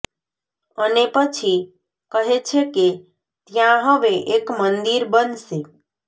અને પછી કહે છે કે ત્યાં હવે એક મંદિર બનશે